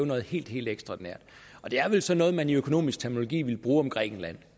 noget helt helt ekstraordinært og det er vel sådan noget som man i økonomisk terminologi ville bruge om grækenland